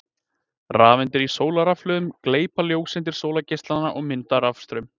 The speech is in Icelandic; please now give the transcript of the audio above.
Rafeindir í sólarrafhlöðunum gleypa ljóseindir sólargeislanna og mynda rafstraum.